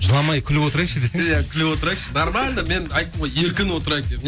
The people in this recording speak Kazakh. жыламай күліп отырайықшы десеңші иә күліп отырайықшы нормально мен айттым ғой еркін отырайық